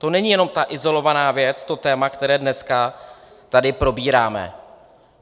To není jenom ta izolovaná věc, to téma, které dneska tady probíráme.